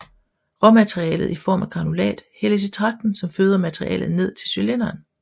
Råmaterialet i form af granulat hældes i tragten som føder materialet ned til cylinderen